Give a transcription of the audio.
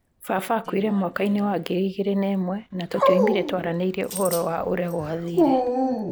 Baba aakuire mwaka-inĩ wa 2001, na tũtioimire twaranĩirie ũhoro wa ũrĩa gwathire.